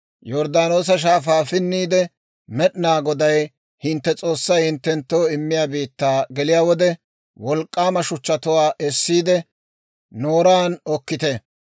Yorddaanoosa Shaafaa pinniide, Med'inaa Goday hintte S'oossay hinttenttoo immiyaa biittaa geliyaa wode, wolk'k'aama shuchchatuwaa essiide, booshunchchaan okkite.